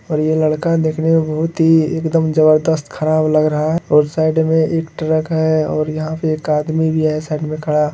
और ये लड़का देखने मे बहुत ही एकदम जबरदस्त खराब लग रहा है और साइड मे एक ट्रक है और यहाँ एक आदमी भी है साइड मे खड़ा।